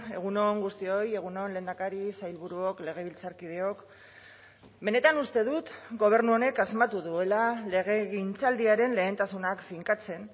egun on guztioi egun on lehendakari sailburuok legebiltzarkideok benetan uste dut gobernu honek asmatu duela legegintzaldiaren lehentasunak finkatzen